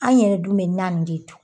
An yɛrɛ dun bɛ naw de dun